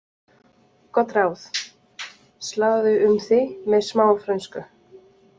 Gott ráð: Sláðu um þig með smá frönsku.